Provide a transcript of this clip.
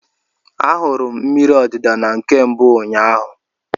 Ahụrụ m mmiri odida na nke mbụ ụnyaahụ.